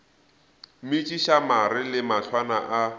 metšiša mare le mahlwana a